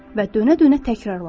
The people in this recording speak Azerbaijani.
Və dönə-dönə təkrarladım.